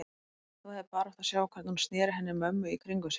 Þú hefðir bara átt að sjá hvernig hún sneri henni mömmu í kringum sig.